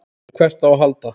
En hvert á að halda?